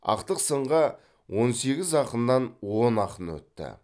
ақтық сынға он сегіз ақыннан он ақын өтті